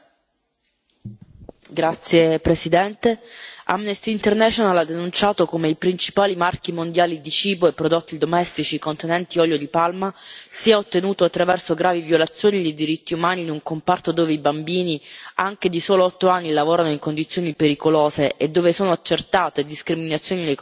Signora Presidente, onorevoli colleghi, Amnesty International ha denunciato come i principali marchi mondiali di cibo e prodotti domestici contenenti olio di palma siano responsabili di gravi violazioni dei diritti umani in un comparto dove i bambini anche di soli otto anni lavorano in condizioni pericolose e dove sono accertate discriminazioni nei confronti delle donne